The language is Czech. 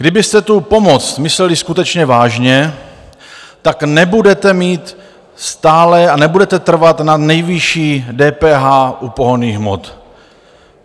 Kdybyste tu pomoc mysleli skutečně vážně, tak nebudete mít stále a nebudete trvat na nejvyšší DPH u pohonných hmot.